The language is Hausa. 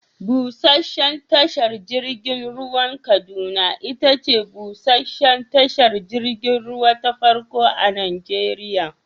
Busheshen tashar jirgin ruwan Kaduna itace busheshen tashar jirgin ruwa ta farko a Najeriya.